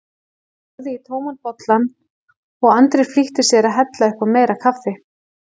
Hann horfði í tóman bollann og Andri flýtti sér að hella upp á meira kaffi.